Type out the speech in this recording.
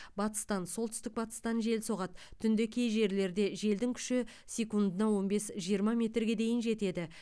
батыстан солтүстік батыстан жел соғады түнде кей жерлерде желдің күші секундына он бес жиырма метрге дейін жетеді